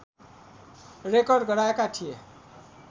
Record गराएका थिए।